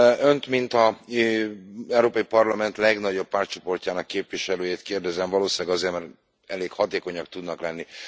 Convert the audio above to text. Önt, mint az Európai Parlament legnagyobb pártcsoportjának képviselőjét kérdezem, valószínűleg azért, mert elég hatékonyak tudnak lenni.